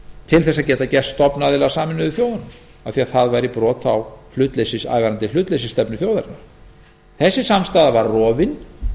til þess að geta gerst stofnaðili að sameinuðu þjóðunum af því að það væri brot á hlutleysisstefnu þjóðarinnar þessi samstaða var rofin